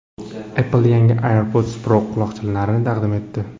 Apple yangi AirPods Pro quloqchinlarini taqdim etdi.